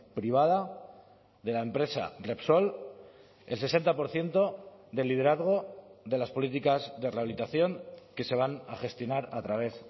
privada de la empresa repsol el sesenta por ciento del liderazgo de las políticas de rehabilitación que se van a gestionar a través